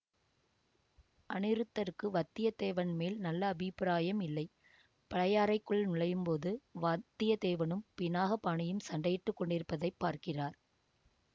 அநிருத்தருக்கு வத்தியத்தேவன் மேல் நல்ல அபிப்பிராயம் இல்லை பழையாறைக்குள் நுழையும் போது வத்தியத்தேவனும் பினாகபாணியும் சண்டையிட்டு கொண்டிருப்பதை பார்க்கிறார்